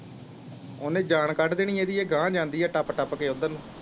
ਓਨੇ ਜਾਨ ਕੱਢ ਦੇਣੀ ਇਦੀ ਇਹ ਗਾਹ ਜਾਂਦੀ ਐ ਟੱਪ ਟੱਪ ਕੇ ਉੱਧਰ ਨੂੰ।